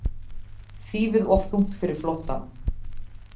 Þýfið of þungt fyrir flóttann